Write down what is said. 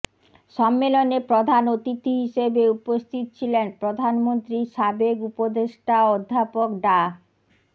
সম্মেলনে প্রধান অতিথি হিসেবে উপস্থিত ছিলেন প্রধানমন্ত্রীর সাবেক উপদেষ্টা অধ্যাপক ডা